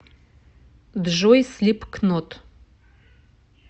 джой слипкнот